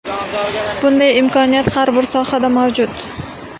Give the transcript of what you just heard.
Bunday imkoniyat har bir sohada mavjud.